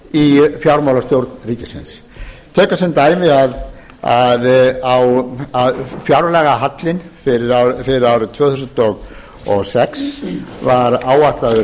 í fjármálastjórn ríkisins tökum sem dæmi að fjárlagahallinn fyrir árið tvö þúsund og sex var áætlaður